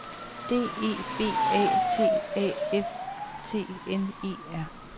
D E B A T A F T N E R